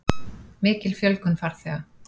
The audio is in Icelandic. Mikil fjölgun farþega